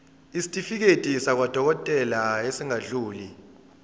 isitifiketi sakwadokodela esingadluli